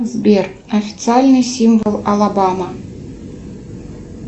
сбер официальный символ алабама